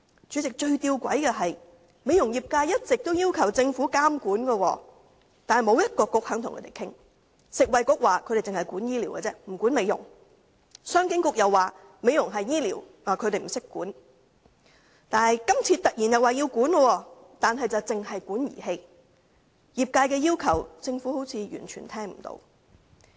主席，最吊詭的是，美容業界一直要求政府監管，但沒有一個政策局願意與他們討論，食物及衞生局說他們只管醫療，不管美容；商務及經濟發展局說美容屬於醫療範疇，他們不懂得規管。